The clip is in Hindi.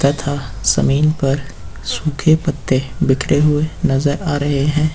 तथा जमीन पर सूखे पत्ते बिखरे हुए नजर आ रहे हैं।